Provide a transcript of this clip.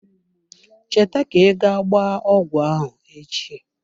Cheta ka I ga gbaa ọgwụ ahụ echi.